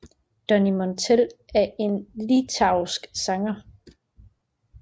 Donny Montell er en litauisk sanger